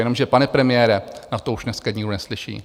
Jenomže, pane premiére, na to už dneska nikdo neslyší.